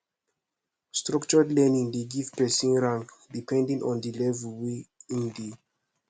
structured learning de give person rank depending on di level wey in de